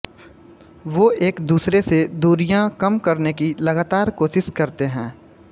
वो एक दूसरे से दूरियाँ कम करने की लगातार कोशिश करते हैं